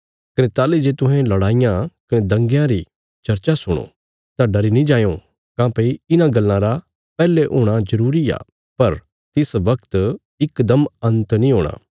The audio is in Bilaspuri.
कने ताहली जे तुहें लड़ाईयां कने दंगयां री चर्चा सुणो तां डरी नीं जायों काँह्भई इन्हां गल्लां रा पैहले हूणा जरूरी आ पर तिस बगत इकदम अंत नीं हूणा